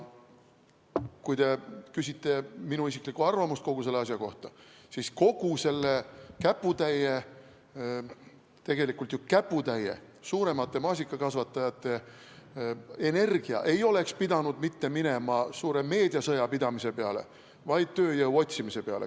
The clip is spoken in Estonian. Kui te küsite minu isiklikku arvamust kogu selle asja kohta, siis kogu selle käputäie, tegelikult ju käputäie suuremate maasikakasvatajate energia ei oleks pidanud minema mitte suure meediasõja pidamise peale, vaid tööjõu otsimise peale.